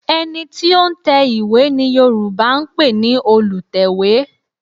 Ẹ̀ni tí ó ń tẹ ìwé ni Yorùbá ń pè ní Olùtẹ̀wé